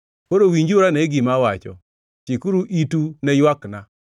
Koro winjuru ane gima awacho; chikuru itu ne ywakna.